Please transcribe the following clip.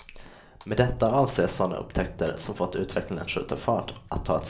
Med detta avses sådana upptäckter, som fått utvecklingen att skjuta ny fart, att ta ett språng framåt.